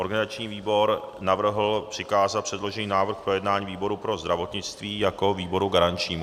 Organizační výbor navrhl přikázat předložený návrh k projednání výboru pro zdravotnictví jako výboru garančnímu.